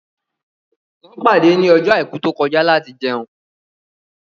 Wọ́n pàdé ní ọjọ́ àìkú tó kọjá láti